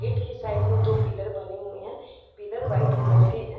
Gate के side में दो पिलर बने हुए हैं। पिलर वाइट कलर के है।